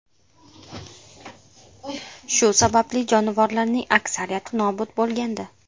Shu sababli jonivorlarning aksariyati nobud bo‘lgandi.